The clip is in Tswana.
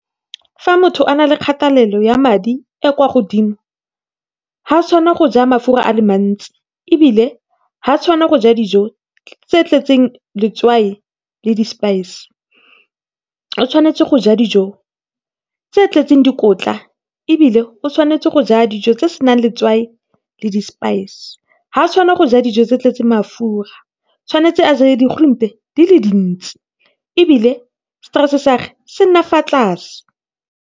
Fa motho a na le kgathelelo ya madi e kwa godimo ga tshwana go ja mafura a le mantsi ebile ga tshwana go ja dijo tse tletseng letswai le di spice. O tshwanetse go ja dijo tse tletseng dikotla ebile o tshwanetse go ja dijo tse senang le tswai le di spice. Ga tshwanela go ja dijo tse di tletseng mafura, tshwanetse a je di-groente di le dintse ebile stress sa ge se nna fa tlase.